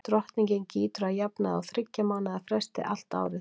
drottningin gýtur að jafnaði á þyggja mánaða fresti allt árið